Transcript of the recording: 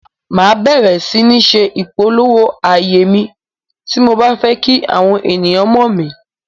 Màá bẹ̀ẹ̀rẹ̀ sí ní se ìpolówó ààyè mi, tí mo bá fẹ́ kí àwọn ènìyàn mọ̀ mí.